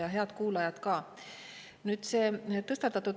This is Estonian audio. Ja head kuulajad ka!